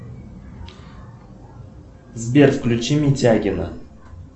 сбер включи митягина